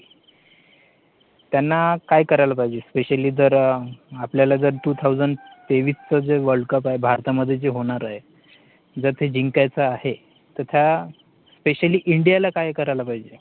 त्यांना, काय करायला पाहिजे? specially जर आपलं जे two thousand तेवीस च जे WORLD CUP आहे, भारतामध्ये जे होणार आहे, जर ते जिंकायचं आहेत तर त्या, specially India ला काय करायला पाहिजे?